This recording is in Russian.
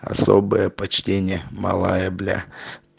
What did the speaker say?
особое почтение малая бля